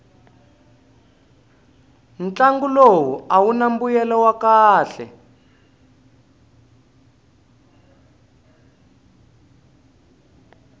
ntlangu lowu awuna mbuyelo wa kahle